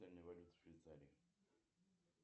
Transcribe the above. валюта в швейцарии